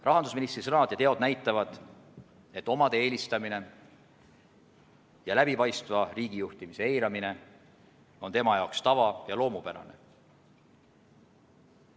Rahandusministri sõnad ja teod näitavad, et omade eelistamine ja läbipaistva riigijuhtimise eiramine on tema jaoks tava ja loomupärane.